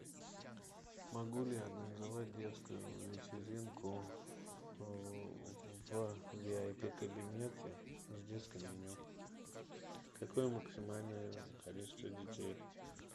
могу ли я организовать детскую вечеринку в ви ай пи кабинете с детским меню какое максимальное количество детей